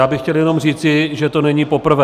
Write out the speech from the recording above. Já bych chtěl jenom říci, že to není poprvé.